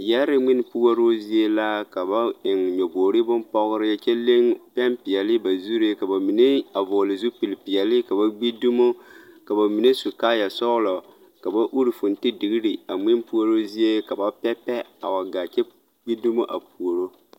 Yɛre mwinpuoroo zie la ka ba eŋ nyɔboɡri bompɔɡri kyɛ leɡ pɛmpeɛle ba zuree ka ba mine a vɔɔli zupilipeɛli ka ba ɡbi dumo ka ba mine su kaayasɔɡelɔ ka ba uri fontediɡri a mwinpuoroo zie ka ba pɛpɛ a wa ɡaa kyɛ ɡbi dumo puoroo.